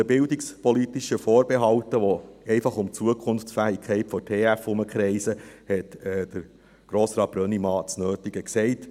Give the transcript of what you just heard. Zu den bildungspolitischen Vorbehalten, die einfach um die Zukunft der TF Bern herum kreisen, hat Grossrat Brönnimann das Nötige gesagt.